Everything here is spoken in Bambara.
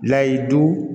Layidu